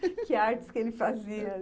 Que artes que ele fazia?